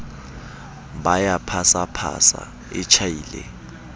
ba ya phasaphasa e tjhaile